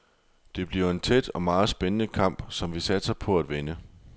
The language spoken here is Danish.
Det bliver en tæt og meget spændende kamp, som vi satser på at vinde.